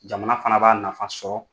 Jamana fana b'a nafa sɔrɔ.